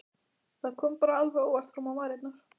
Það kom bara alveg óvart fram á varirnar.